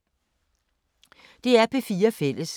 DR P4 Fælles